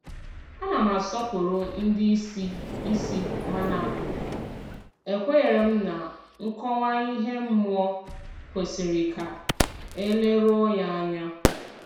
A na m asọpụrụ ndị isi isi mana ekwenyere m na nkọwa ihe mmụọ kwesịrị ka e leruo ya anya.